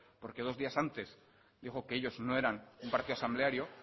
porque dos días antes dijo que ellos no eran un partido asambleario